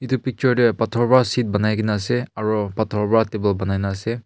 etu picture teh pathor pera seat banai ke na ase aru pathor pera table bunai ase.